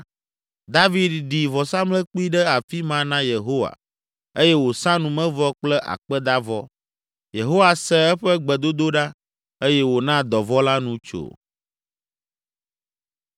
David ɖi vɔsamlekpui ɖe afi ma na Yehowa eye wòsa numevɔ kple akpedavɔ. Yehowa se eƒe gbedodoɖa eye wòna dɔvɔ̃ la nu tso.